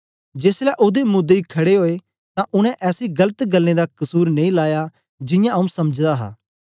जेसलै ओदे मुदई खड़े ओए तां उनै ऐसी गलत गल्लें दा कसुर नेई लाया जियां आंऊँ समझदा हा